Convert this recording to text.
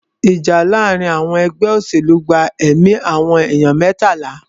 Ìjà láàárín àwọn ẹgbẹ́ òṣèlú gba ẹ̀mí àwọn ènìyàn mẹ́tàlá.